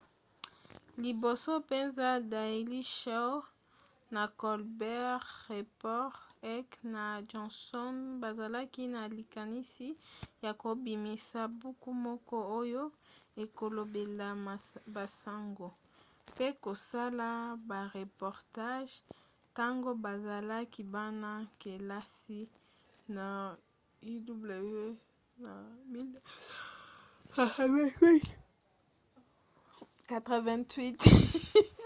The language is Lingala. liboso mpenza daily show na colbert report heck na johnson bazalaki na likanisi ya kobimisa buku moko oyo ekolobelaka basango - mpe kosala bareportage - ntango bazalaki bana-kelasi na uw na 1988